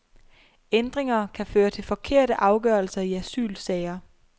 Ændringer kan føre til forkerte afgørelser i asylsager.